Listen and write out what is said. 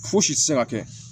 Fosi tɛ se ka kɛ